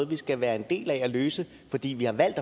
vi skal være en del af at løse fordi vi har valgt